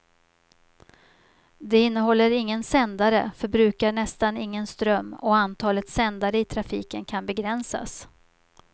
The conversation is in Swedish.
Den innehåller ingen sändare, förbrukar nästan ingen ström och antalet sändare i trafiken kan begränsas.